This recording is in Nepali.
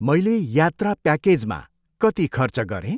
मैले यात्रा प्याकेजमा कति खर्च गरेँ?